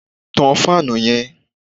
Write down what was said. Tán fáànù yẹn!